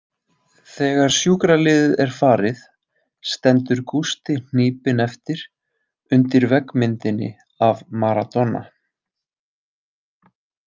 Þegar sjúkraliðið er farið stendur Gústi hnípinn eftir, undir veggmyndinni af Maradona.